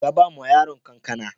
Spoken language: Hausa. Ka ba ma yaron kankana